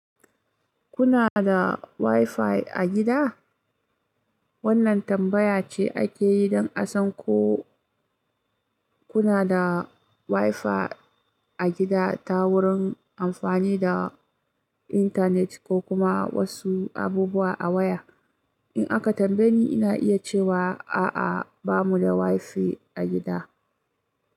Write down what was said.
Kuna da wifi a gida? Wannan tambaya ce ake yi don a san ko kuna da wifi a gida ta wurin amfani da intanet ko kuma wasu abubuwa a waya. In aka tambaye ni, ina iya cewa a'a, ba mu da wifi a gida.